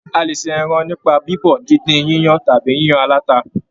A lè ṣe ẹran nípa bibọ, díndín, yíyan tàbí yíyan alata